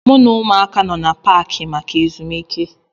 M na ụmụaka nọ n'Paakị maka ezumike